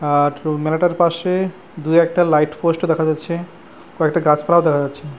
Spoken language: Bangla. আর মেলাটার পাশে দু একটা লাইট পোস্ট ও দেখা যাচ্ছে কয়েকটা গাছপালাও দেখা যাচ্ছে। .